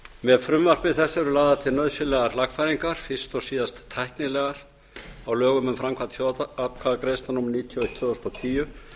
með frumvarpi þessu eru lagðar til nauðsynlegar lagfæringar fyrst og síðast tæknilegar á lögum um framkvæmd þjóðaratkvæðagreiðslna númer níutíu og eitt tvö þúsund og tíu